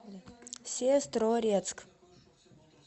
сестрорецк